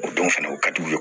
O don fɛnɛ o ka di u ye